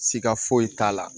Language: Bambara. Siga foyi t'a la